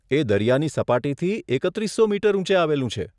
એ દરિયાની સપાટીથી એકત્રીસો મીટર ઊંચે આવેલું છે.